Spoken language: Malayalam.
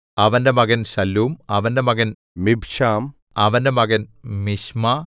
അവന്റെ മകൻ ശല്ലൂം അവന്റെ മകൻ മിബ്ശാം അവന്റെ മകൻ മിശ്മാ